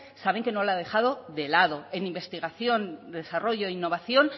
saben que no lo ha dejado de lado en investigación desarrollo e innovación